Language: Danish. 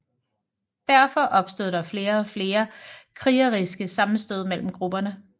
Derfor opstod der flere og flere krigeriske sammenstød mellem grupperne